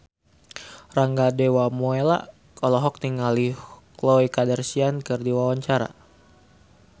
Rangga Dewamoela olohok ningali Khloe Kardashian keur diwawancara